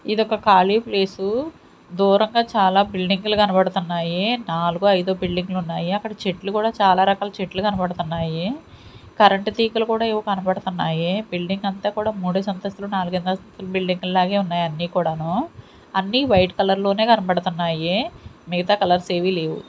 ఇదొక ఖాళీ ప్లేసు దూరంగా చాలా బిల్డింగ్లు కనబడుతున్నాయి నాలుగో ఐదో బిల్డింగ్లు ఉన్నాయి అక్కడ చెట్లు కూడా చాలా రకాల చెట్లు కనబడుతున్నాయి కరెంట్ తీగలు కూడా ఏవో కనబడుతున్నాయి బిల్డింగ్ అంతా కూడా మూడేసి అంతస్తులు నాలుగే అంతస్తులు బిల్డింగ్ లాగే ఉన్నాయి అన్నీ కూడాను అన్ని వైట్ కలర్ లోనే కనబడుతున్నాయి మిగతా కలర్స్ ఏవి లేవు.